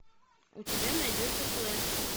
у тебя найдется флеш